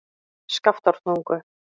Skaftártungu